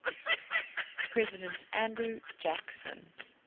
president andrew jackson